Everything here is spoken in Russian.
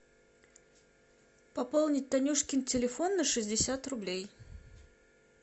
пополнить танюшкин телефон на шестьдесят рублей